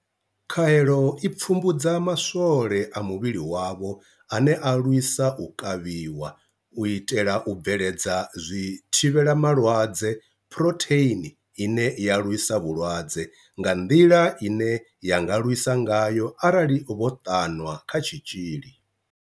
Khaelo i pfumbudza maswole a muvhili wavho ane a lwisa u kavhiwa, u itela u bveledza zwithivhela malwadze Phurotheini ine ya lwisa vhulwadze, nga nḓila ine ya nga lwisa ngayo arali vho ṱanwa kha tshitzhili.